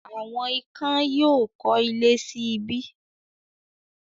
“Àwọn ikán” yóò kọ́ ilé sí ibí.